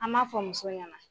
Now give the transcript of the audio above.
An b'a fɔ muso ɲɛna.